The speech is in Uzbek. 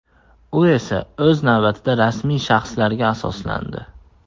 U esa, o‘z navbatida rasmiy shaxslarga asoslandi.